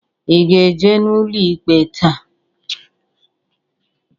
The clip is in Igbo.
I ga-eje n'ụlọ ikpe taa?